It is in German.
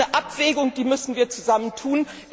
Das ist eine Abwägung, die müssen wir zusammen tun.